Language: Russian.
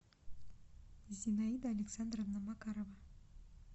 зинаида александровна макарова